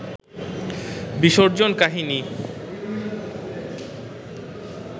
বিসর্জন কাহিনী